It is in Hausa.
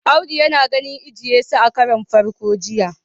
Audu yana ganin eje- Yesu a karon farko jiya